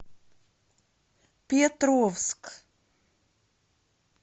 петровск